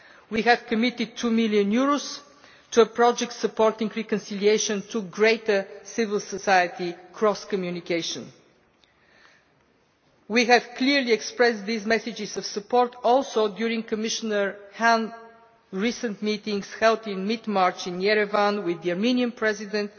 We have committed EUR 2 million to a project supporting reconciliation and to greater civil society cross communication. We also clearly expressed these messages of support during Commissioner Hahn's recent meetings held in mid March in Yerevan with the Armenian President,